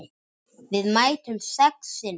Við mættum sex sinnum.